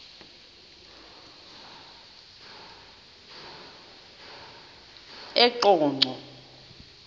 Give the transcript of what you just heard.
eqonco